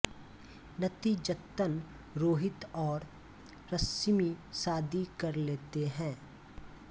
नतीजतन रोहित और रश्मि शादी कर लेते हैं